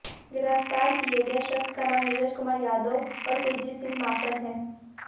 गिरफ्तार किए गए शख्स का नाम नीरज कुमार यादव और कुलजीत सिंह माकन है